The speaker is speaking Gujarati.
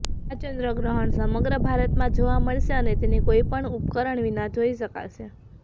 આ ચંદ્વગ્રહણ સમગ્ર ભારતમાં જોવા મળશે અને તેને કોઇપણ ઉપકરણ વિના જોઇ શકાશે